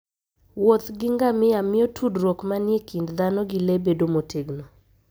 Wuoth gi ngamia miyo tudruok manie kind dhano gi le bedo motegno.